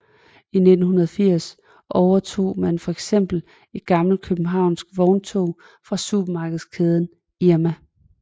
I 1980 overtog man for eksempel et gammelt københavnsk vogntog fra supermarkedskæden Irma